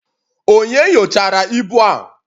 Onye nyochara ibu a?